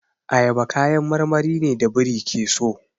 Ayaba kayan marmari ne da biri ke so.